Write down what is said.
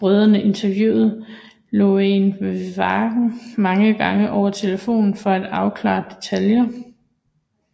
Brødrene interviewede Lorraine Warren mange gange over telefonen for at afklare detaljer